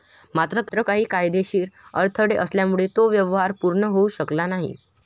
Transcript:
मात्र काही कायदेशीर अडथळे आल्यामुळे तो व्यवहार पूर्ण होऊ शकला नाही.